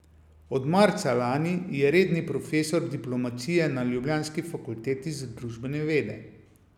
Od marca lani je redni profesor diplomacije na ljubljanski Fakulteti za družbene vede.